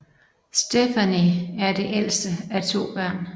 Stefani er det ældste af to børn